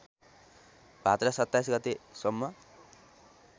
भाद्र २७ गतेसम्म